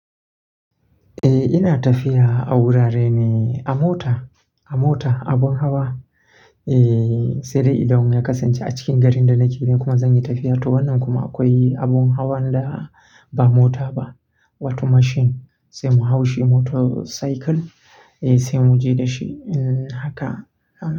Eh ina tafiya a wurare ne a mota, a mota, abun hawa. Eeh, sai dai idan ya kasance a cikin garin da nake da kuma zan yi tafiya to wannan kuma akwai abun hawan da ba mota ba, wata mashin sai mu hau shi motorcycle sai mu je da shi in haka.